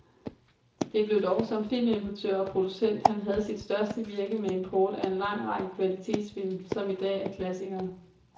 Det blev dog som filmimportør og producent, han havde sit største virke med import af en lang række kvalitetsfilm, som i dag er klassikere.